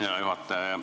Hea juhataja!